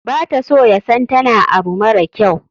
bata so yasan tana abu mara kyau.